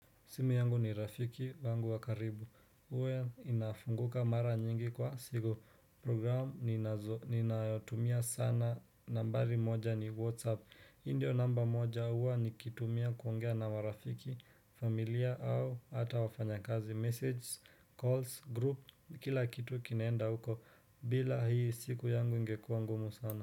Simu yangu ni rafiki wangu wakaribu huwa inafunguka mara nyingi kwa siku programu ninazo ninayotumia sana nambari moja ni whatsapp hii ndio namba moja huwa nikitumia kuongea na marafiki, familia au hata wafanyakazi, message, calls, group kila kitu kinaenda huko bila hii siku yangu ingekua ngumu sana.